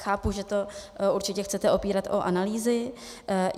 Chápu, že to určitě chcete opírat o analýzy.